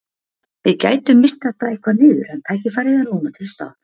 Við gætum misst þetta eitthvað niður en tækifærið er núna til staðar.